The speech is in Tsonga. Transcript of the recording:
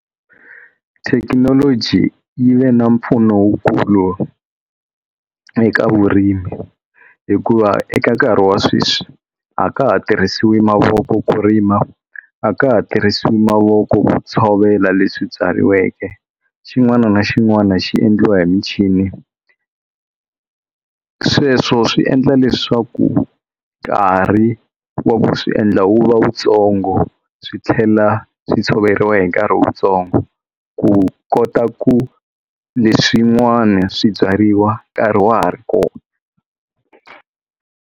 Thekinoloji yi ve na mpfuno lowukulu eka vurimi hikuva eka nkarhi wa sweswi a ka ha tirhisiwi mavoko ku rima a ka ha tirhisiwi mavoko ku tshovela leswi byariweke xin'wana na xin'wana xi endliwa hi michini sweswo swi endla leswaku nkarhi wa ku swi endla wu va wu tsongo swi tlhela swi tshoveriwa hi nkarhi wutsongo ku kota ku leswin'wani swibyariwa nkarhi wa ha ri kona.